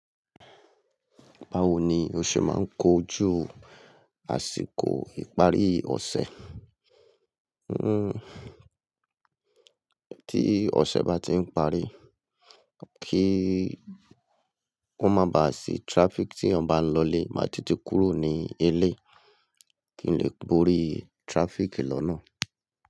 Báwo ni o ṣe máa ń kojú àsìkò ìparí ọ̀sẹ̀? Tí ọ̀sẹ̀ bá ti ń parí, kí ó má baà sí traffic tí èèyàn bá ń lọ ilé, màá tètè kúrò ní ilé kí ń lè bórí traffic lọ́nà.